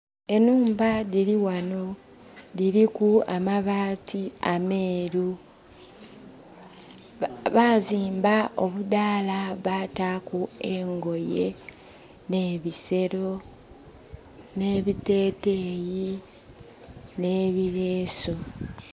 Enhumba dhili ghanho dhiriku amabaati ameeru. Bazimba obudhaala bataku engoye, n'ebisero, n'ebiteteeyi n'ebilesu.